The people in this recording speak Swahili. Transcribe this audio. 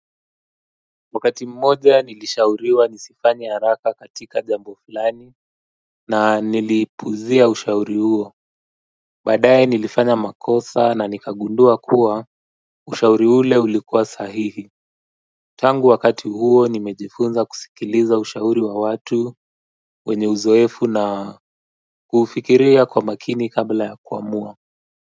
Wakati mmoja nilishauriwa nisifanye haraka katika jambo fulani na niliipuzia ushauri huo badaye nilifanya makosa na nikagundua kuwa ushauri ule ulikuwa sahihi tangu wakati huo nimejifunza kusikiliza ushauri wa watu wenye uzoefu na kufikiria kwa makini kabla ya kuamua.